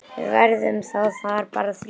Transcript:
Við verðum þá bara þrír.